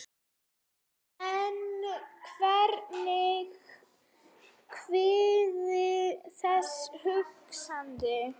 En hvernig kviknaði þessi hugmynd?